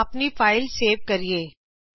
ਆਓ ਅਪਣੀ file save ਕਰੀਏ